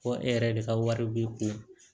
Ko e yɛrɛ de ka wari b'i kun